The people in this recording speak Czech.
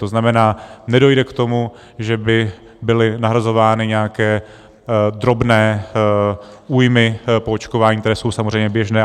To znamená, nedojde k tomu, že by byly nahrazovány nějaké drobné újmy po očkování, které jsou samozřejmě běžné.